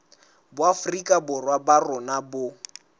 boafrika borwa ba rona bo